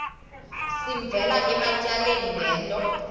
sivela ematyaleni ngento